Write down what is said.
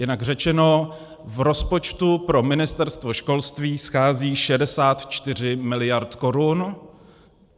Jinak řečeno, v rozpočtu pro Ministerstvo školství schází 64 mld. korun.